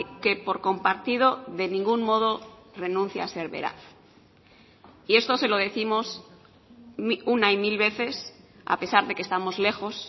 que por compartido de ningún modo renuncia a ser veraz y esto se lo décimos una y mil veces a pesar de que estamos lejos